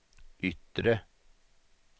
yttre